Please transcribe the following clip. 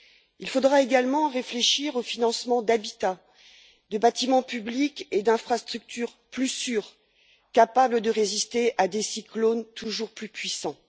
Il faudra également réfléchir au financement d'habitats, de bâtiments publics et d'infrastructures plus sûrs, capables de résister à des cyclones toujours plus puissants.